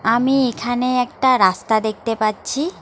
আমি এখানে একটা রাস্তা দেখতে পাচ্ছি।